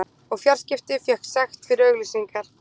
Og fjarskipti fékk sekt fyrir auglýsingar